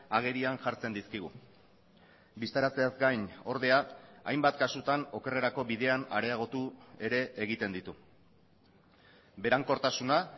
agerian jartzen dizkigu bistaratzeaz gain ordea hainbat kasutan okerrerako bidean areagotu ere egiten ditu berankortasuna